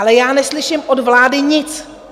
Ale já neslyším od vlády nic.